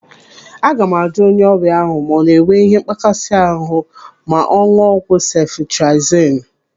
Aga m ajụ onye ọrịa ahụ ma ọ na enwe ihe mgbakasị ahụ ma ọ ṅụọ ọgwụ sefitriazonu.